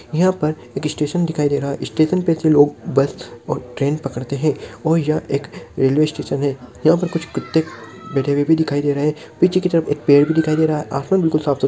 यह पर एक स्टेशन दिखाई दे रहा है स्टेशन प से लोग बस और ट्रेन पकड़ते हैं और यह एक रेलवे स्टेशन है यहाँ पर कुछ कुत्ते बैठे हुए दिखाई दे रहे हैं पीछे की तरफ एक पेड़ भी दिखाई दे रहा है आसमान बिलकुल साफ़ सु --